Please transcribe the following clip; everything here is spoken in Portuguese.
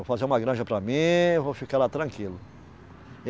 Vou fazer uma granja para mim, vou ficar lá tranquilo.